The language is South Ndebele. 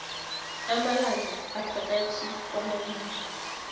amalanga aphakathi kwamabili